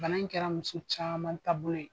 Bana in kɛra muso caman taabolo ye.